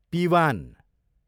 पिवान